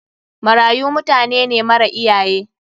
Marayu mutanene mara iyaye.